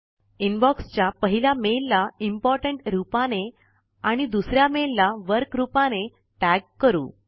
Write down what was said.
inbox च्या पहिल्या mail ला इम्पोर्टंट रूपाने आणि दुसऱ्या मेल ला वर्क रूपाने टॅग करू